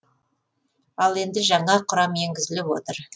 ал енді жаңа құрам енгізіліп отыр